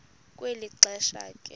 kwelo xesha ke